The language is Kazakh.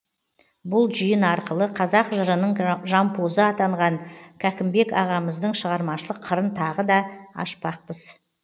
бұл жиын арқылы қазақ жырының жампозы атанған кәкімбекағамыздың шығармашылық қырын тағы да ашпақпыз